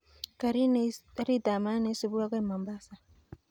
Karit ab maat neisubi akoi mombasa